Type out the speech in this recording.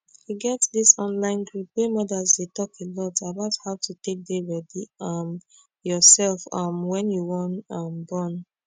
e get this online group wey modas dey talk alot about how to take dey ready um yourself um wen you wan um born